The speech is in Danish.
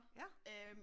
Ja